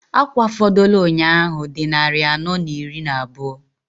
Akwa fọdụlụ nnyaa ahụ dị nnarị anọọ n'iri n'abụọ.